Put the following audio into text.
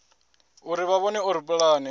uri vha vhone uri pulane